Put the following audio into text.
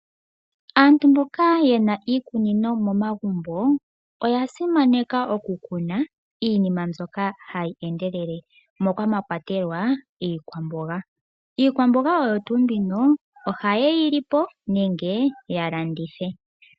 Aantu mboka ye na iikunino momagumbo oya simaneka okukuna iinima mbyoka hayi endelele moka mwa kwatelwa iikwamboga. Iikwamboga oyo tuu mbino ohaye yi lipo nenge ya landithe.